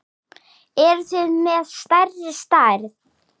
Eruð þið með stærri stærð?